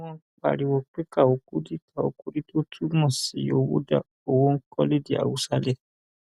ó ní wọn ń pariwo pé káo kùdí káo kùdí tó túmọ sí owó dá owó ńkọ lédè hausale